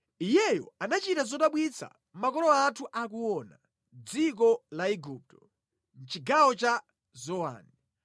Iyeyo anachita zodabwitsa makolo athu akuona, mʼdziko la Igupto, mʼchigawo cha Zowani.